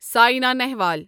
Saina Nehwal